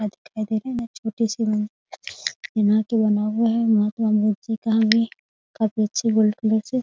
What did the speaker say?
दिखाई दे रहा है छोटे बना हुआ है । महात्मा मूर्ति को भी काफी अच्छी गोल्ड कलर से --